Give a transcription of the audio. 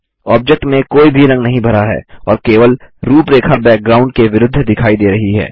object में कोई भी रंग नहीं भरा है और केवल रूपरेखा बैकग्राउंड के विरुद्ध दिखाई दे रही है